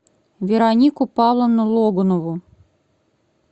веронику павловну логунову